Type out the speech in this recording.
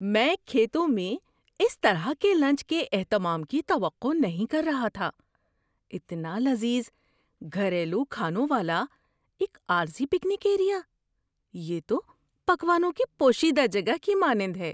میں کھیتوں میں اس طرح کے لنچ کے اہتمام کی توقع نہیں کر رہا تھا – اتنا لذیذ گھریلو کھانوں والا ایک عارضی پکنک ایریا! یہ تو پکوانوں کی پوشیدہ جگہ کی مانند ہے!